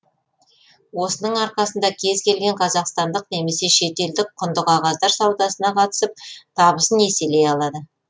осының арқасында кез келген қазақстандық немесе шетелдік құнды қағаздар саудасына қатысып табысын еселей алады